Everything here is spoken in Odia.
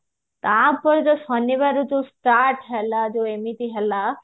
ତାପରେ ଯୋଉ ଶନିବାରେ ଯୋଉ start ହେଲା ଯୋଉ ଏମିତି ହେଲା